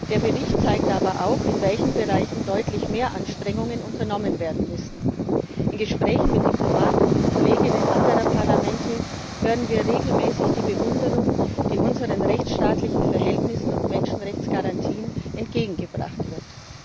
Der Bericht zeigt aber auch, in welchen Bereichen deutlich mehr Anstrengungen unternommen werden müssen. In Gesprächen mit Diplomaten, mit Kolleginnen und Kollegen anderer Parlamente, hören wir regelmäßig die Bewunderung, die unseren rechtsstaatlichen Verhältnissen und Menschenrechtsgarantien entgegengebracht wird.